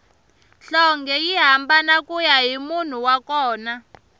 nhlonge yi hambana kuya hi munhu wa kona